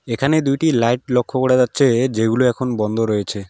এখানে দুইটি লাইট লক্ষ্য করা যাচ্ছেএ যেগুলো এখন বন্ধ রয়েছে।